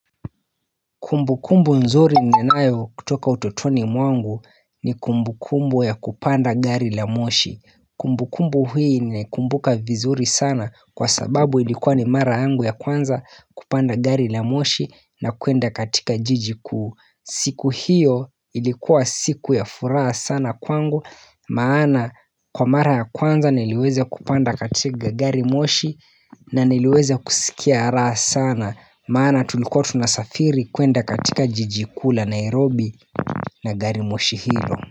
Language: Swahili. Kumbukumbu nzuri ninayo kutoka utotoni mwangu ni kumbukumbu ya kupanda gari la moshi Kumbukumbu hii nikumbuka vizuri sana kwa sababu ilikuwa ni mara yangu ya kwanza kupanda gari la moshi na kwenda katika jiji kuu siku hiyo ilikuwa siku ya furaha sana kwangu maana kwa mara ya kwanza niliweza kupanda katika gari moshi na niliweza kusikia raha sana Maana tulikuwa tunasafiri kwenda katika jiji kuu la Nairobi na gari moshi hilo.